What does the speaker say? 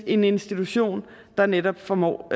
en institution der netop formår